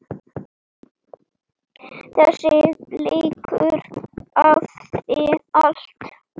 Þessi leikur hafði allt.